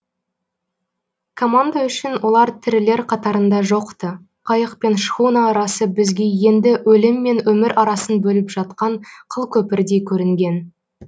команда үшін олар тірілер қатарында жоқ ты қайық пен шхуна арасы бізге енді өлім мен өмір арасын бөліп жатқан қылкөпірдей көрінген